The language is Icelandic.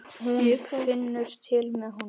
Hún finnur til með honum.